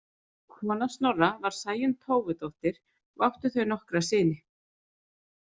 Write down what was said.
Kona Snorra var Sæunn Tófudóttir og áttu þau nokkra syni.